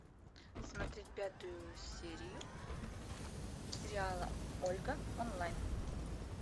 смотреть пятую серию сериала ольга онлайн